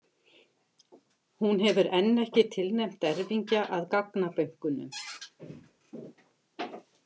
Hún hefur enn ekki tilnefnt erfingja að gagnabönkunum.